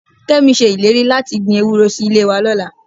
Kẹ́mi ṣe ìlérí láti gbin ewúró sí ilé wa lọ́la